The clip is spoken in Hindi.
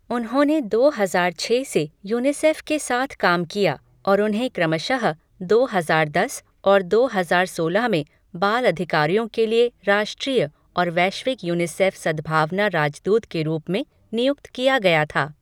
उन्होंने दो हजार छः से यूनिसेफ के साथ काम किया और उन्हें क्रमशः दो हजार दस और दो हजार सोलह में बाल अधिकारों के लिए राष्ट्रीय और वैश्विक यूनिसेफ सद्भावना राजदूत के रूप में नियुक्त किया गया था।